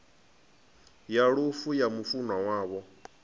ya lufu ya mufunwa wavho